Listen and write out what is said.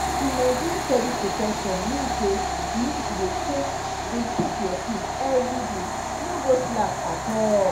to maintain steady protection mean say you need to dey take dey take your pill everyday no go slack at all.